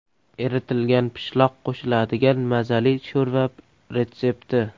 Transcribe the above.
Eritilgan pishloq qo‘shiladigan mazali sho‘rva retsepti.